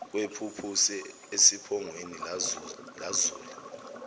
kwephuphusi esiphongweni lazula